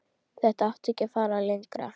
Þetta á ekki að fara lengra.